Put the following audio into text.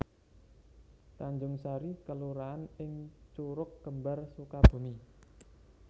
Tanjungsari kelurahan ing Curugkembar Sukabumi